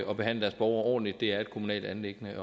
og behandle deres borgere ordentligt det er et kommunalt anliggende